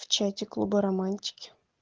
в чате клуба романтики